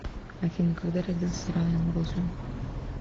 афина когда родился райан гослинг